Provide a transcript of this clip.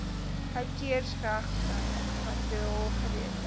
outeursregvrye materiaal geredelik